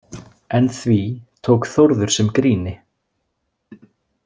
En því tók Þórður sem gríni.